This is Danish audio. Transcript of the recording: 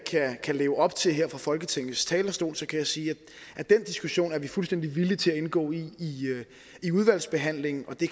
kan leve op til her fra folketingets talerstol kan jeg sige at den diskussion er vi fuldstændig villige til at indgå i i udvalgsbehandlingen og det